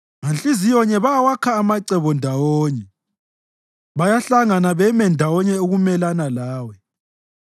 Nganhliziyonye bawakha amacebo ndawonye; bayahlangana beme ndawonye ukumelana lawe,